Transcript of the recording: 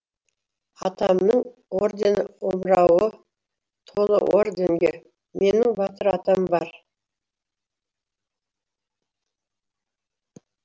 атамның ордені омырауы толы орденге менің батыр атам бар